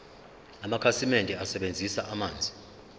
amakhasimende asebenzisa amanzi